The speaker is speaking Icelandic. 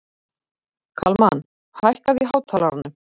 Kalmann, lækkaðu í hátalaranum.